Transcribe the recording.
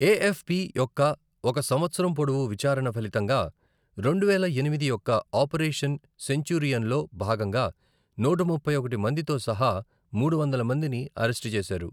ఏ F P యొక్క ఒక సంవత్సరం పొడవు విచారణ ఫలితంగా రెండువేల ఎనిమిది యొక్క ఆపరేషన్ సెంచూరియన్లో భాగంగా నూట ముప్పై ఒకటి మందితో సహా మూడువందల మందిని అరెస్టు చేశారు.